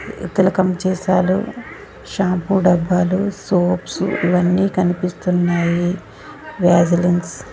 తిలకంచేసాలు shampoo డబ్బాలు soaps ఇవన్నీ కనిపిస్తున్నాయి వాజలిన్స్ .